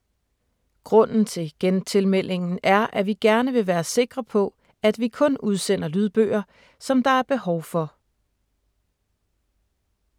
Grunden til genmeldingen er, at vi gerne vil være sikre på, at vi kun udsender lydbøger, som der er behov for.